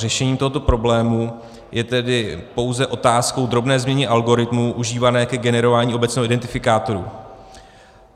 Řešením tohoto problému je tedy pouze otázkou drobné změny algoritmů užívaných ke generování obecného identifikátoru.